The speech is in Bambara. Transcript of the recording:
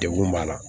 Degun b'a la